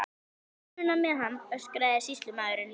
Eru þetta eðlileg tengsl þingmanna við, við, við bankakerfið?